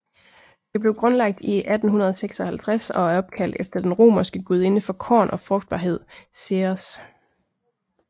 Det blev grundlagt i 1856 og er opkaldt efter den romerske gudinde for korn og frugtbarhed Ceres